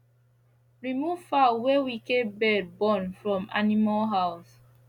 remove fowl wey wicked bird born from animal house